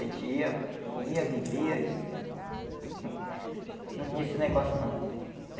A gente ia, comia, bebia e hum não tinha esse negócio, não.